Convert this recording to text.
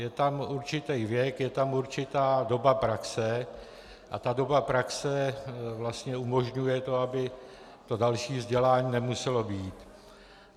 Je tam určitý věk, je tam určitá doba praxe a ta doba praxe vlastně umožňuje to, aby to další vzdělání nemuselo být.